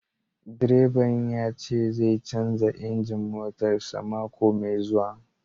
Direban ya ce zai canza injin motarsa ​​mako mai zuwa